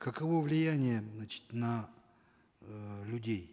каково влияние значит на эээ людей